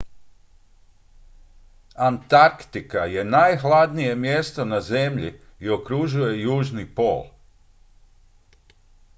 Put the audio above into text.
antarktika je nahladnije mjesto na zemlji i okružuje južni pol